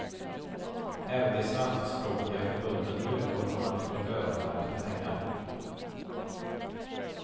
Även de svenskspråkiga förbunden utgår från att de får öronmärkta pengar.